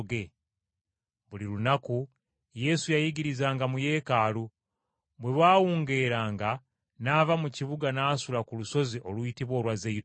Buli lunaku Yesu yayigirizanga mu Yeekaalu, bwe bwawungeeranga n’ava mu kibuga n’asula ku lusozi oluyitibwa olwa Zeyituuni.